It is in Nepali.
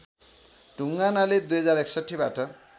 ढुङ्गानाले २०६१ बाट